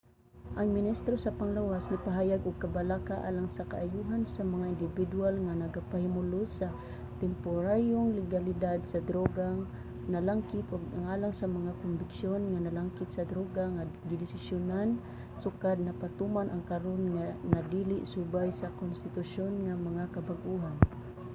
ang ministro sa panglawas nipahayag og kabalaka alang sa kaayohan sa mga indibidwal nga nagapahimulos sa temporaryong legalidad sa drogang nalangkit ug alang sa mga kombiksyon nga nalangkit sa droga nga gidesisyonan sukad napatuman ang karon na dili subay sa konstitusyon nga mga kabag-ohan